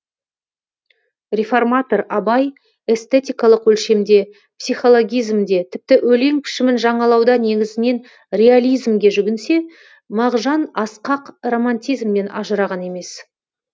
реформатор абай эстетикалық өлшемде психологизмде тіпті өлең пішімін жаңалауда негізінен реализмге жүгінсе мағжан асқақ романтизмнен ажыраған емес